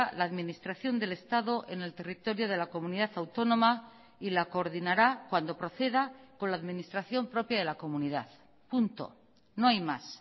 la administración del estado en el territorio de la comunidad autónoma y la coordinará cuando proceda con la administración propia de la comunidad punto no hay más